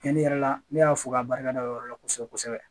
Tiɲɛli yɛrɛ la ne y'a fɔ k'a barika da o yɔrɔ la kosɛbɛ kosɛbɛ